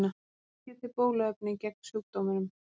Ekki er til bóluefni gegn sjúkdómnum.